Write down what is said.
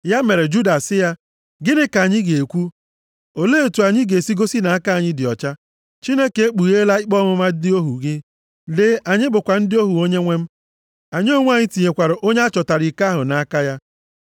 Ya mere Juda sị ya, “Gịnị ka anyị ga-ekwu? Olee otu anyị ga-esi gosi nʼaka anyị dị ọcha? Chineke ekpugheela ikpe ọmụma ndị ohu gị. Lee, anyị bụkwa ndị ohu onyenwe m. Anyị onwe anyị, tinyekwara onye a chọtara iko ahụ nʼaka ya.”